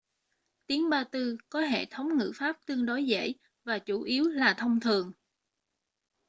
tiếng ba-tư có hệ thống ngữ pháp tương đối dễ và chủ yếu là thông thường